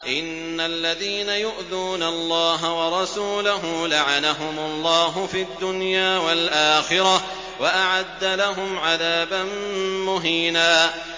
إِنَّ الَّذِينَ يُؤْذُونَ اللَّهَ وَرَسُولَهُ لَعَنَهُمُ اللَّهُ فِي الدُّنْيَا وَالْآخِرَةِ وَأَعَدَّ لَهُمْ عَذَابًا مُّهِينًا